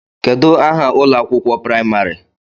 Kedụ aha ụlọ akwụkwọ praịmarị?